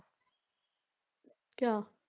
ਕਿਆ